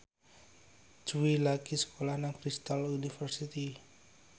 Jui lagi sekolah nang Bristol university